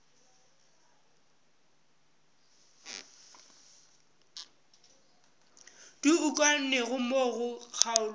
di ukangwego mo go kgaolo